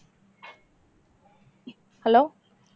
hello